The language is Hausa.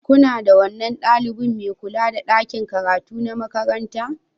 Ku naɗa wannan ɗalibin mai kula da ɗakin karatu na makaranta.